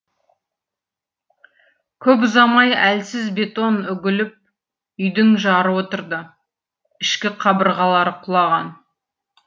көп ұзамай әлсіз бетон үгіліп үйдің жары отырды ішкі қабырғалары құлаған